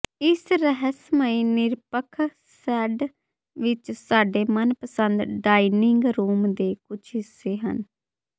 ਇਸ ਰਹੱਸਮਈ ਨਿਰਪੱਖ ਸ਼ੇਡ ਵਿਚ ਸਾਡੇ ਮਨਪਸੰਦ ਡਾਇਨਿੰਗ ਰੂਮ ਦੇ ਕੁਝ ਹਿੱਸੇ ਹਨ